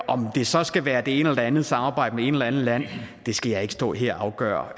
om det så skal være det ene eller det andet samarbejde med et eller andet land skal jeg ikke stå her og afgøre